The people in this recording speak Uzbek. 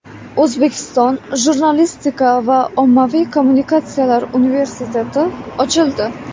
O‘zbekiston jurnalistika va ommaviy kommunikatsiyalar universiteti ochildi.